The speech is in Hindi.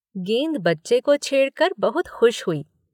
गेंद बच्चे को छेड़ कर बहुत खुश हुई।